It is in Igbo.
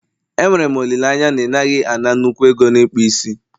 Enwere m olileanya na ị naghị ana nnukwu ego na ịkpụ isi